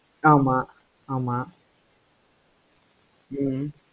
ஆமா ஆமா ஹம்